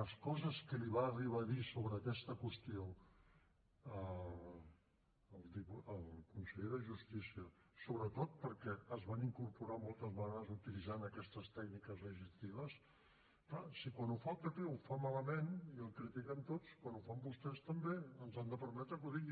les coses que li va arribar a dir sobre aquesta qüestió al conseller de justícia sobretot perquè es van incorporar moltes vegades utilitzant aquestes tècniques legislatives és clar si quan ho fa el pp ho fa malament i el critiquem tots quan ho fan vostès també ens han de permetre que ho digui